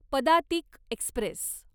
Padatik Express